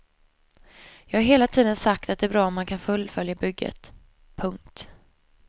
Jag har hela tiden sagt att det är bra om man kan fullfölja bygget. punkt